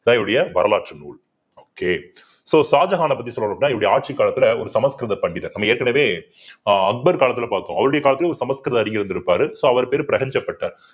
இதான் இவருடைய வரலாற்று நூல் okay so ஷாஜகானை பத்தி சொல்லணும்ன்னா இவருடைய ஆட்சி காலத்துல ஒரு சமஸ்கிருத பண்டிதர் நம்ம ஏற்கனவே அஹ் அக்பர் காலத்துல பார்த்தோம் அவருடைய காலத்துல ஒரு சமஸ்கிருத அறிஞர் இருந்திருப்பாரு so அவர் பேரு பிரகஞ்சப்பட்டர்